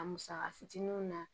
A musaka fitininw na